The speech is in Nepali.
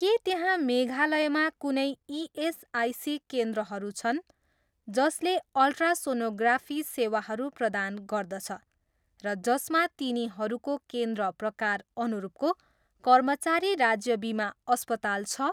के त्यहाँ मेघालयमा कुनै इएसआइसी केन्द्रहरू छन् जसले अल्ट्रासोनोग्राफी सेवाहरू प्रदान गर्दछ र जसमा तिनीहरूको केन्द्र प्रकार अनुरूपको कर्मचारी राज्य बिमा अस्पताल छ?